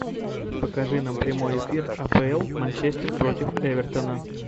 покажи нам прямой эфир апл манчестер против эвертона